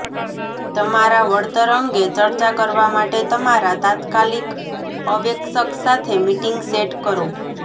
તમારા વળતર અંગે ચર્ચા કરવા માટે તમારા તાત્કાલિક અવેક્ષક સાથે મીટિંગ સેટ કરો